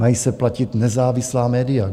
Mají se platit nezávislá média.